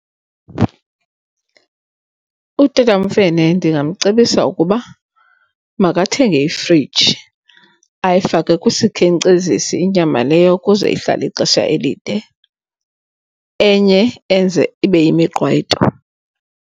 UTata uMfene ndingamcebisa ukuba makathenge ifriji ayifake kwisikhenkcezisi inyama leyo ukuze ihlale ixesha elide enye enze ibe yimiqwayito.